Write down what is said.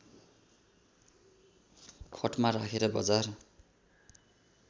खटमा राखेर बजार